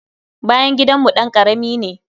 Bayan gidanmu ɗan karami ne.